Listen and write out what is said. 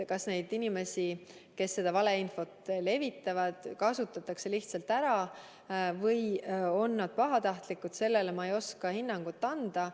Kas neid inimesi, kes seda valeinfot levitavad, kasutatakse lihtsalt ära, või on nad pahatahtlikud, sellele ma ei oska hinnangut anda.